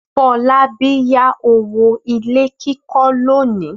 Fọlábí yá owó ilé kíkọ́ lónìí.